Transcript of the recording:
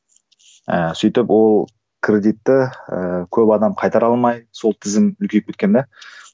ііі сөйтіп ол кредитті ііі көп адам қайтара алмай сол тізім үлкейіп кеткен де